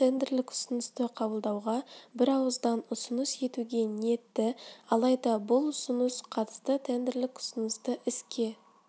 қатысты тендерлік ұсынысты қабылдауға бірауыздан ұсыныс етуге ниетті алайда бұл ұсыныс қатысты тендерлік ұсынысты іске